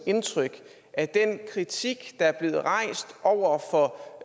indtryk at den kritik der er blevet rejst over for